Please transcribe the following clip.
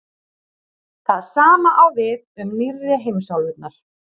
það sama á við um „nýrri“ heimsálfurnar